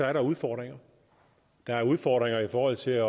er udfordringer der er udfordringer i forhold til at